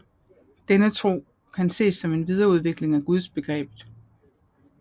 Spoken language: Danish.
Denne tro kan ses som en videreudvikling af Gudsbegrebet